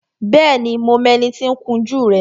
Bẹ́ẹ̀ni, mo mọ ẹni tí ó ń kun jú rẹ